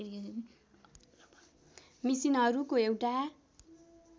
मिसिनहरूको एउटा